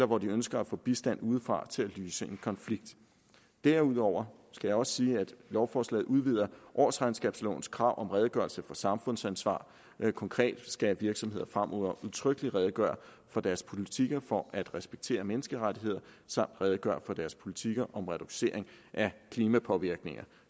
hvor de ønsker at få bistand udefra til at løse en konflikt derudover skal jeg også sige at lovforslaget udvider årsregnskabslovens krav om redegørelse for samfundsansvar konkret skal virksomheder fremover udtrykkeligt redegøre for deres politiker for at respektere menneskerettigheder samt redegøre for deres politiker om reduktion af klimapåvirkninger